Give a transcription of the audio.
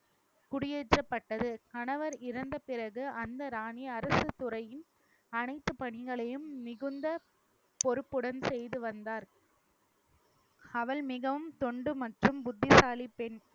குடியேற்றப்பட்டது கணவர் இறந்த பிறகு அந்த ராணி அரசு துறையின் அனைத்து பணிகளையும் மிகுந்த பொறுப்புடன் செய்து வந்தார் அவள் மிகவும் தொண்டு மற்றும் புத்திசாலி பெண்